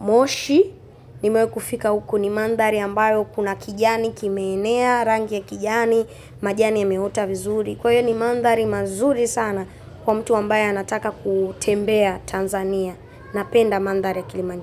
moshi. Nimewai kufika huku ni mandari ambayo kuna kijani, kimeenea, rangi ya kijani, majani yameota vizuri. Kwa hiyo ni mandari mazuri sana kwa mtu ambaye anataka kutembea Tanzania na penda mandari ya Kilimanjaro.